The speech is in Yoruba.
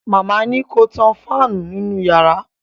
Màmá ni ko tan fáànù nínú yàrá